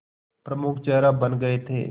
प्रमुख चेहरा बन गए थे